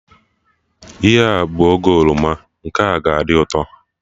Ihe a bụ oge oroma, nke a ga-adị ụtọ